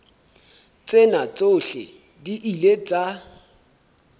tsena tsohle di ile tsa